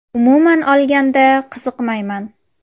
Umuman olganda, qiziqmayman.